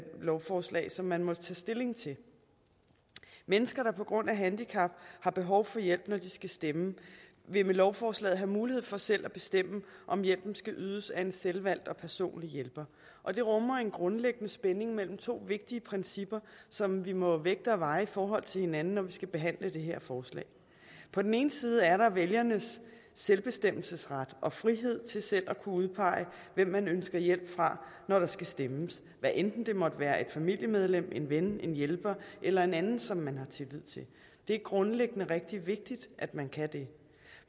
lovforslag som man må tage stilling til mennesker der på grund af handicap har behov for hjælp når de skal stemme vil med lovforslaget have mulighed for selv at bestemme om hjælpen skal ydes af en selvvalgt og personlig hjælper og det rummer en grundlæggende spænding mellem to vigtige principper som vi må vægte og veje i forhold til hinanden når vi skal behandle det her forslag på den ene side er der vælgernes selvbestemmelsesret og frihed til selv at kunne udpege hvem man ønsker hjælp fra når der skal stemmes hvad enten det måtte være et familiemedlem en ven en hjælper eller en anden som man har tillid til det er grundlæggende rigtig vigtigt at man kan det